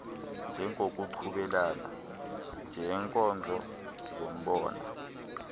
njengokuchubelana ngeenkozo zombona